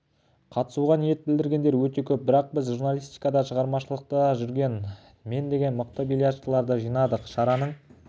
қатысуға ниет білдіргендер өте көп бірақ біз журналистикада шығармашылықта жүрген мен деген мықты бильярдшыларды жинадық шараның